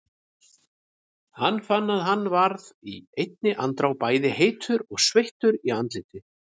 Hann fann að hann varð í einni andrá bæði heitur og sveittur í andliti.